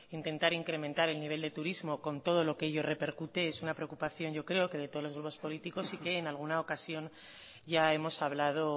intentar incrementar el nivel de turismo con todo lo que ello repercute es una preocupación yo creo que de todos los grupos políticos y que en alguna ocasión ya hemos hablado